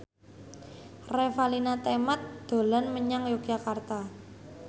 Revalina Temat dolan menyang Yogyakarta